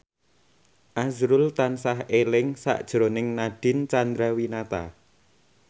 azrul tansah eling sakjroning Nadine Chandrawinata